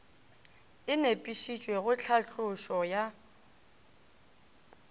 e nepišitšwe go tlhatlošo ya